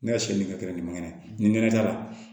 Ne ka siyɛn min kɛ nin kɛnɛ nin kɛnɛ da la